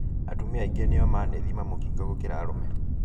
Atumia aingĩ nĩo manethima mũkingo gũkĩra arũme